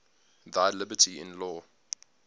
thy liberty in law